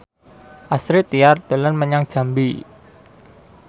Astrid Tiar dolan menyang Jambi